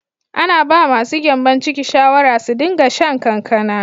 Ana ba ma su gyanbon ciki shawara su din ga shan kankana.